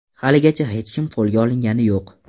Haligacha hech kim qo‘lga olingani yo‘q.